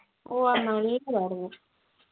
ഓ ആയിരുന്നു